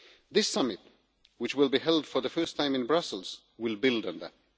This summit, which will be held for the first time in Brussels, will build on that.